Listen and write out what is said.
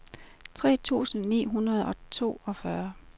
tre tusind ni hundrede og toogfyrre